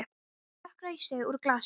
Hann slokrar í sig úr glasinu.